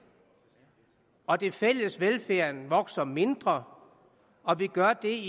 og den fælles velfærd vokser mindre og gør det